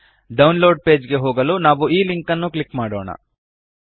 download page ಗೆ ಹೋಗಲು ನಾವು ಈ ಲಿಂಕ್ ಅನ್ನು ಕ್ಲಿಕ್ ಮಾಡೋಣ